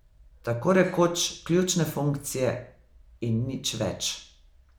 Tako rekoč ključne funkcije in nič več.